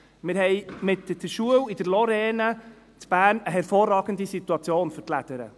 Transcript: Wir haben mit der Schule in der Lorraine in Bern eine hervorragende Situation für die Lädere.